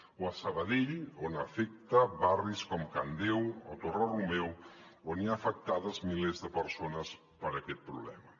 o a sabadell on afecta barris com can deu o torre romeu on hi ha afectades milers de persones per aquest problema